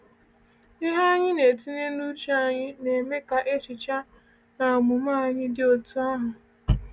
Ihe anyị na-etinye n’uche anyị na-eme ka echiche na omume anyị dị otú ahụ.